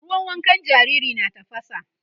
ruwan wankan jariri na tafasa